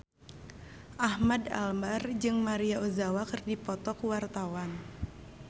Ahmad Albar jeung Maria Ozawa keur dipoto ku wartawan